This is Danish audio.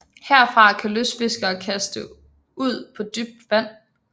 Herfra kan lystfiskere kaste ud på dybt vand